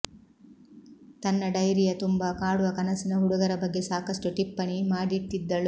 ತನ್ನ ಡೈರಿಯ ತುಂಬ ಕಾಡುವ ಕನಸಿನ ಹುಡುಗರ ಬಗ್ಗೆ ಸಾಕಷ್ಟು ಟಿಪ್ಪಣಿ ಮಾಡಿಟ್ಟಿದ್ದಳು